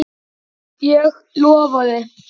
Ég lofaði.